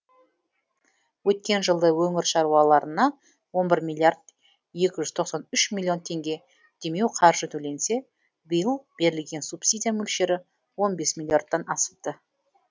өткен жылы өңір шаруаларына он бір миллиард екі жүз тоқсан үш миллион теңге демеуқаржы төленсе биыл берілген субсидия мөлшері он бес миллиардтан асыпты